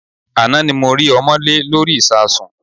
Àná ni mo rí ọmọ́lé lórí ìsasùn.